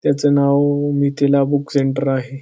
त्याचं नाव Mithila book centre आहे.